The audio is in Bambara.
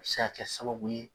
A be se ka kɛ sababu ye